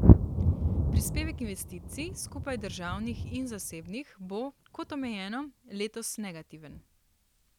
Prispevek investicij, skupaj državnih in zasebnih, bo, kot omenjeno, letos negativen.